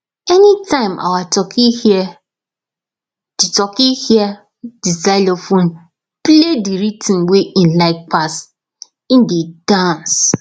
anytime our turkey hear the turkey hear the xylophone play the rhythm wey en like pass en dey dance